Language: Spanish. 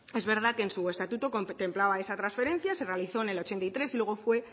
es verdad que en su estatuto contemplaba esa transferencia se realizó en el ochenta y tres y luego fue